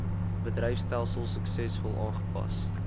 bedryfstelsels suksesvol aanpas